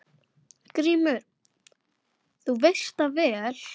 GRÍMUR: Þú veist það vel.